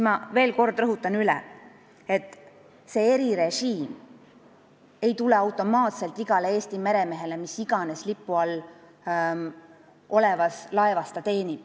Ma veel kord rõhutan üle, et see erirežiim ei laiene automaatselt igale Eesti meremehele, kes teenib mis iganes lipu all olevas laevas.